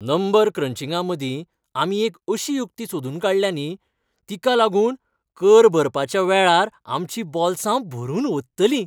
Number क्रंचिंगामदीं, आमी एक अशी युक्ती सोदून काडल्या न्ही, तिका लागून कर भरपाच्या वेळार आमचीं बॉल्सां भरून ओंत्तलीं.